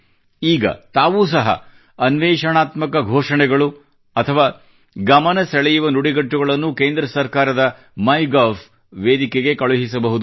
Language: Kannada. ಈಗ ತಾವೂ ಸಹ ಅನ್ವೇಷಣಾತ್ಮಕ ಘೋಷಣೆಗಳು ಅಥವಾ ಗಮನ ಸೆಳೆಯುವ ನುಡಿಗಟ್ಟುಗಳನ್ನು ಕೇಂದ್ರ ಸರ್ಕಾರದ ಮೈಗವ್ʼ ವೇದಿಕೆಗೆ ಕಳುಹಿಸಬಹುದು